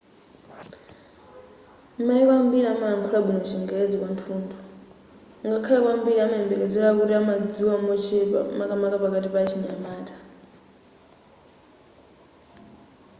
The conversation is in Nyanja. mayiko ambiri amalankhula bwino chingerezi kwathunthu ngakhale kwambiri umayembekezera kuti amadziwa mochepa makamaka pakati pa achinyamata